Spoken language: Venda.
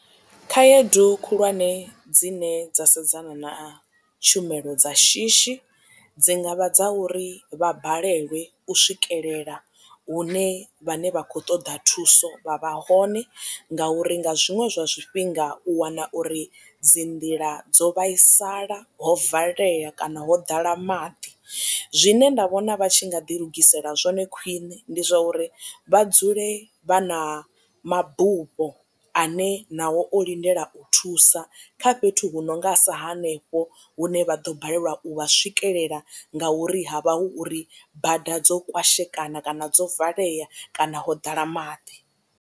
Khaedu khulwane dzine dza sedzana na tshumelo dza shishi dzi nga vha dza uri vha balelwe u swikelela hune vhane vha khou ṱoḓa thuso vha vha hone nga uri nga zwiṅwe zwifhinga u wana uri dzi nḓila dzo vhaisala ho valea kana ho ḓala maḓi. Zwine nda vhona vha tshi nga ḓi lugisela zwone khwiṋe ndi zwa uri vha dzule vha na mabufho ane nao o lindela u thusa kha fhethu hu no nga sa hanefho hune vha ḓo balelwa u vha swikelela nga uri ha vha hu uri bada dzo kwashekana kana dzo valea kana ho ḓala maḓi.